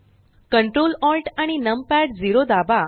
control Alt आणि num pad zero दाबा